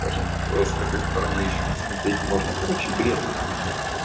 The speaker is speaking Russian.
скажем с такой стороны ещё посмотреть можно короче бред это все